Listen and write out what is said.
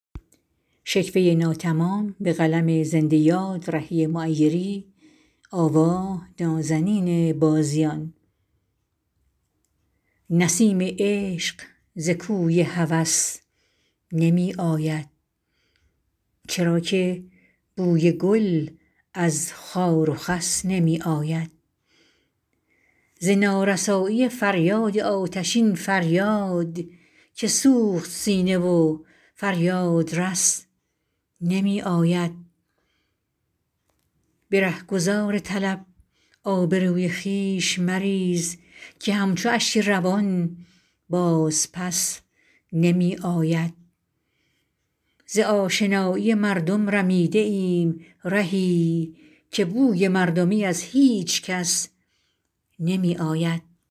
نسیم عشق ز کوی هوس نمی آید چرا که بوی گل از خار و خس نمی آید ز نارسایی فریاد آتشین فریاد که سوخت سینه و فریادرس نمی آید به رهگذار طلب آبروی خویش مریز که همچو اشک روان باز پس نمی آید ز آشنایی مردم رمیده ایم رهی که بوی مردمی از هیچ کس نمی آید